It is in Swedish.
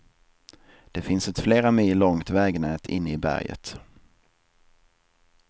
Det finns ett flera mil långt vägnät inne i berget.